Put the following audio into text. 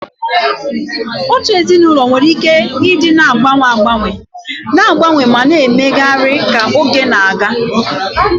Otu ezinụlọ nwere ike ịdị na-agbanwe agbanwe, na-agbanwe ma na-emegharị ka oge na-aga.